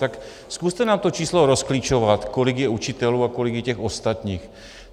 Tak zkuste nám to číslo rozklíčovat, kolik je učitelů a kolik je těch ostatních.